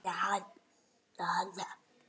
Þar gerðist það sama.